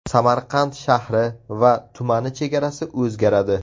Samarqand shahri va tumani chegarasi o‘zgaradi.